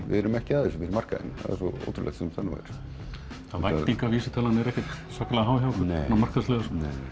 við erum ekki að þessu fyrir markaðinn eins ótrúlegt sem það nú er væntingavísitalan er ekkert svakalega há hjá okkur svona markaðslega